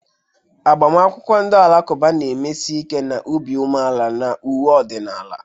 Agbamakwụkwọ ndị Alakụba na-emesi ike na obi umeala na uwe ọdịnala..